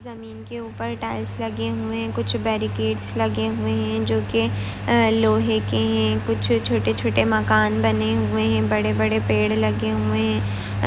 उस के उपर टाइल्स लगे हुवे है कुछ बैरी गेट्स लगे हुवे है जो की लोहे के है कुछ छोटे छोटे मकान बने हुवे है बड़े बड़े पेड़ लगे हुवे है।